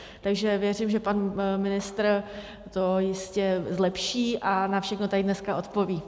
Takže věřím, že pan ministr to jistě zlepší a na všechno tady dneska odpoví.